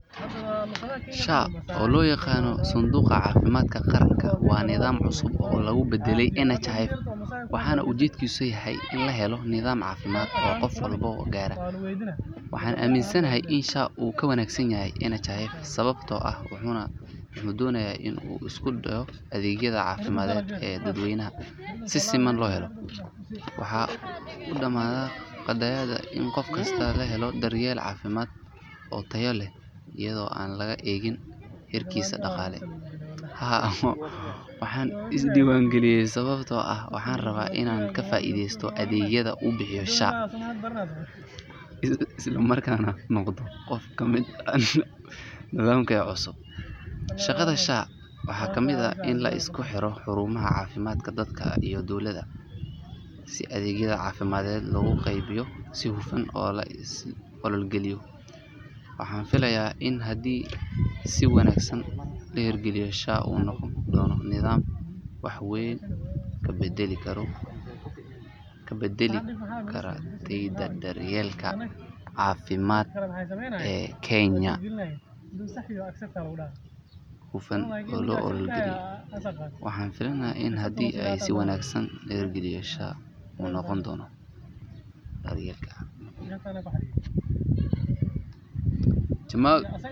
SHA oo loo yaqaan Sanduuqa Caafimaadka Qaranka waa nidaam cusub oo lagu beddelay NHIF waxaana ujeedkiisu yahay in la helo nidaam caafimaad oo qof walba gaara. Waxaan aaminsanahay in SHA uu ka wanaagsan yahay NHIF sababtoo ah wuxuu doonayaa in uu isku duwo adeegyada caafimaad ee dadweynaha si siman loo helo. Waxa uu damaanad qaadayaa in qof kastaa helo daryeel caafimaad oo tayo leh iyada oo aan laga eegin heerkiisa dhaqaale. Haa, waxaan isdiiwaangeliyay sababtoo ah waxaan rabaa inaan ka faa’iidaysto adeegyada uu bixinayo SHA isla markaana aan noqdo qof ka mid ah nidaamka caafimaad ee cusub. Shaqada SHA waxaa ka mid ah in la isku xiro xarumaha caafimaadka, dadka iyo dowladaba si adeegyada caafimaadka loogu qeybiyo si hufan oo la is la ogol yahay. Waxaan filaya.